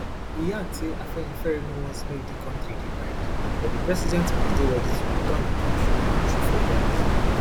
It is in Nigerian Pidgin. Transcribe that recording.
e add say afenifere no want make di kontri divide but di president must dey ready to return di kontri to true federalism